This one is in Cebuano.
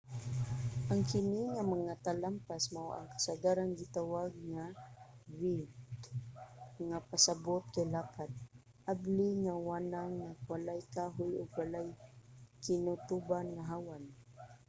ang kini nga mga talampas mao ang kasagarang gitawag nga vidde nga pasabot kay lapad abli nga wanang nga walay kahoy ug walay kinutuban nga hawan